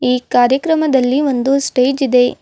ಈ ಕಾರ್ಯಕ್ರಮದಲ್ಲಿ ಒಂದು ಸ್ಟೇಜ್ ಇದೆ.